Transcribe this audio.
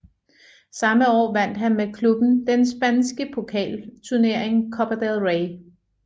Samme år vandt han med klubben den spanske pokalturnering Copa del Rey